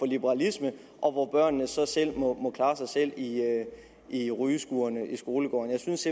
liberalisme og hvor børnene så må klare sig selv i i rygeskurene i skolegårdene jeg synes